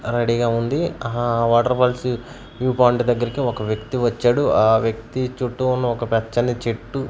రెడీగా ఉంది ఆ వాటర్ ఫాల్స్ వ్యూ పాయింట్ దగ్గరికి ఒక వ్యక్తి వచ్చాడు ఆ వ్యక్తి చుట్టూ ఉన్న ఒక పచ్చని చెట్టు--